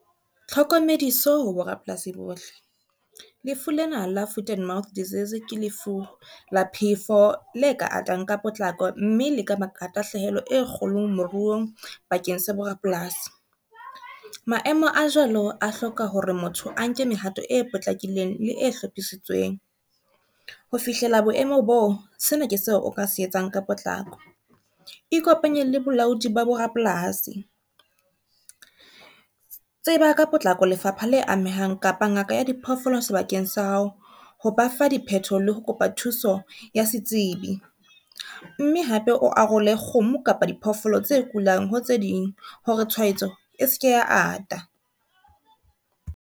Tlhokomediso ho borapolasi bohle. Lefu lena la foot and mouth disease ke lefu la phefo le ka atang ka potlako, mme le ka tahlehelo e kgolo moruong bakeng sa borapolasi. Maemo a jwalo a hloka hore motho a nke mehato e potlakileng le e hlophisitsweng, ho fihlela boemo boo sena ke seo o ka se etsang ka potlako. Ikopanye le bolaodi ba bo rapolasi, tseba ka potlako lefapha le amehang kapa ngaka ya diphoofolo sebakeng sa hao, ho ba fa di phetoho ho kopa thuso ya setsebi, mme hape o a role kgomo kapa diphoofolo tse kulang ho tse ding hore tshwaetso e seke ya ata.